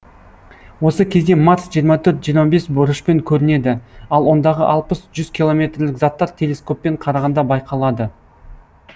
осы кезде марс жиырма төрт жиырма бес градус бұрышпен көрінеді ал ондағы алпыс жүз километрлік заттар телескоппен қарағанда байқалады